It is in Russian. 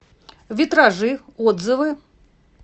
витражи отзывы